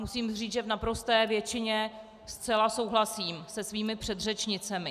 Musím říci, že v naprosté většině zcela souhlasím se svými předřečnicemi.